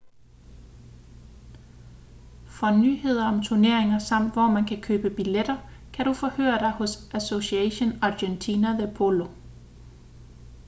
for nyheder om turneringer samt hvor man kan købe billetter kan du forhøre dig hos asociacion argentina de polo